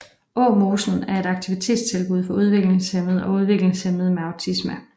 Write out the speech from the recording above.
Åmosen er et aktivitetstilbud for udviklingshæmmede og udviklingshæmmede med autisme